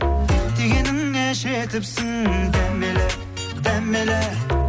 дегеніңе жетіпсің дәмелі дәмелі